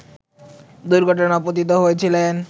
দুর্ঘটনায়ও পতিত হয়েছিলেন